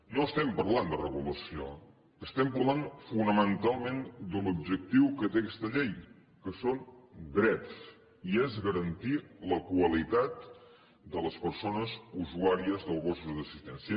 no estem parlant de regulació estem parlant fonamentalment de l’objectiu que té aquesta llei que són drets i és garantir la qualitat de les persones usuàries dels gossos d’assistència